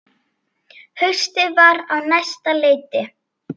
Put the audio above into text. Haustið var á næsta leiti.